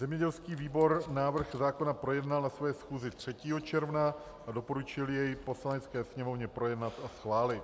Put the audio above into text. Zemědělský výbor návrh zákona projednal na své schůzi 3. června a doporučil jej Poslanecké sněmovně projednat a schválit.